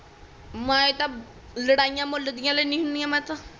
ਮੈਂ ਤਾ ਲੜਾਈਆਂ ਮੁੱਲ ਦੀਆ ਲੈਣੀ ਹੁੰਦੀ ਆ ਮੈਂ ਤਾ